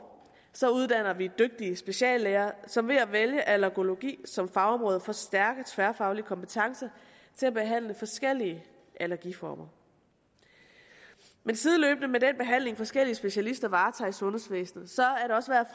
så uddanner vi dygtige speciallæger som ved at vælge allergologi som fagområde får stærke tværfaglige kompetencer til at behandle forskellige allergiformer men sideløbende med den behandling forskellige specialister varetager i sundhedsvæsenet